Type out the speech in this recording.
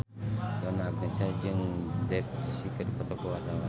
Donna Agnesia olohok ningali Dev Joshi keur diwawancara